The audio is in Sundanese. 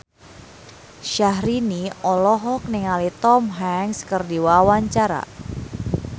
Syahrini olohok ningali Tom Hanks keur diwawancara